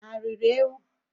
Ha riri ewu?